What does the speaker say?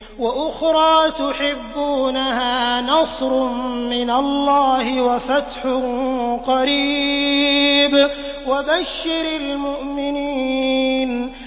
وَأُخْرَىٰ تُحِبُّونَهَا ۖ نَصْرٌ مِّنَ اللَّهِ وَفَتْحٌ قَرِيبٌ ۗ وَبَشِّرِ الْمُؤْمِنِينَ